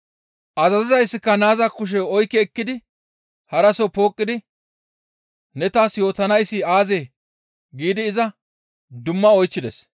Azazizayssika naaza kushe oykki ekkidi haraso pooqqidi, «Ne taas yootanayssi aazee?» giidi iza dumma oychchides.